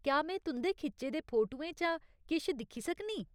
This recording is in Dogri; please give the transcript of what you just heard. क्या में तुं'दे खिच्चे दे फोटुएं चा किश दिक्खी सकनीं ?